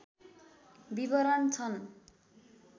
विवरण छन्